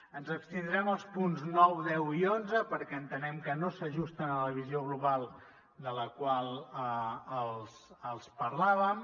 ens abstindrem als punts nou deu i onze perquè entenem que no s’ajusten a la visió global de la qual els parlàvem